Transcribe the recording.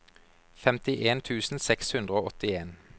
femtien tusen seks hundre og åttien